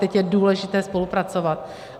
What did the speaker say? Teď je důležité spolupracovat.